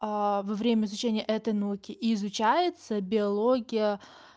а во время изучения этой науки изучается биология